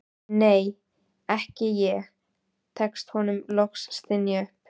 nei, ekki ég, tekst honum loks að stynja upp.